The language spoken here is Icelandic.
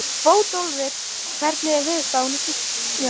Bótólfur, hvernig er veðurspáin?